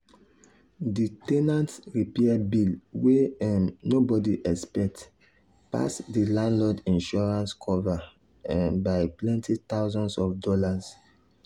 the ten ant repair bill wey um nobody expect pass the landlord insurance cover um by plenty thousands of dollars.